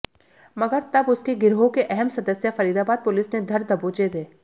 मगर तब उसके गिरोह के अहम सदस्य फरीदाबाद पुलिस ने धर दबोचे थे